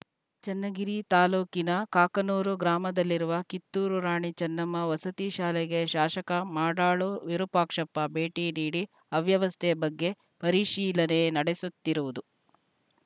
ಚನ್ನಗಿರಿ ತಾಲೂಕಿನ ಕಾಕನೂರು ಗ್ರಾಮದಲ್ಲಿರುವ ಕಿತ್ತೂರು ರಾಣಿ ಚನ್ನಮ್ಮ ವಸತಿ ಶಾಲೆಗೆ ಶಾಸಕ ಮಾಡಾಳು ವಿರೂಪಾಕ್ಷಪ್ಪ ಭೇಟಿ ನೀಡಿ ಅವ್ಯವಸ್ಥೆ ಬಗ್ಗೆ ಪರಿಶೀಲನೆ ನಡೆಸುತ್ತೀರುವುದು